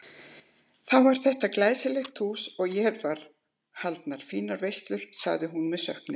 Þá var þetta glæsilegt hús og hér voru haldnar fínar veislur sagði hún með söknuði.